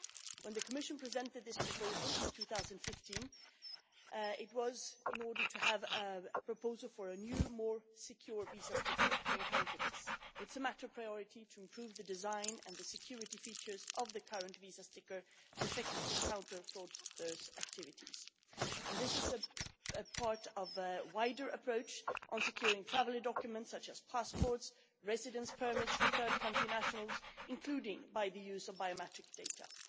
When the Commission presented this proposal in 2015, it was in order to have a proposal for a new, more secure, visa sticker to counter this kind of crime. It is a matter of priority to improve the design and the security features of the current visa sticker, so as to effectively counter fraudsters' activities, and this is a part of a wider approach on securing travel documents such as passports and residence permits for third country nationals, including by the use of biometric data.